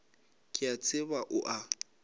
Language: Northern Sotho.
ke a tseba o a